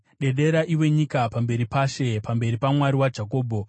Dedera, iwe nyika pamberi paShe, pamberi paMwari waJakobho,